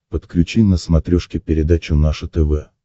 подключи на смотрешке передачу наше тв